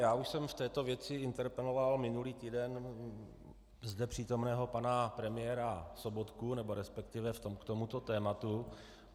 Já už jsem v této věci interpeloval minulý týden zde přítomného pana premiéra Sobotku, nebo respektive k tomuto tématu.